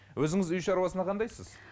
өзіңіз үй шарусына қандайсыз